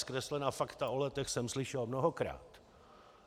Zkreslená fakta o Letech jsem slyšel mnohokrát.